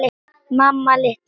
Mamma litla!